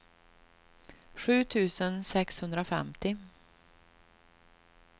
sju tusen sexhundrafemtio